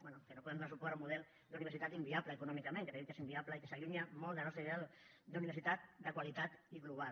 bé que no podem donar suport a un model d’universitat inviable econòmicament que creiem que és inviable i que s’allunya molt de la nostra idea d’universitat de qualitat i global